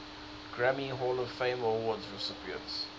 grammy hall of fame award recipients